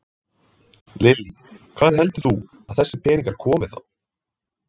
Lillý: Hvaðan heldur þú að þessir peningar komi þá?